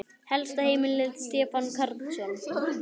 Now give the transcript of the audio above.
Helsta heimild: Stefán Karlsson.